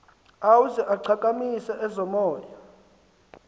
ueuze ichakamise ezomoya